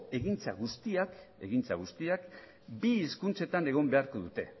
egintzak guztiak bi hizkuntzetan egon beharko dute